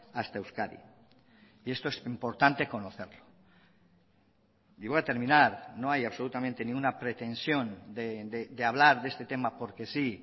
hasta euskadi y esto es importante conocerlo y voy a terminar no hay absolutamente ninguna pretensión de hablar de este tema porque sí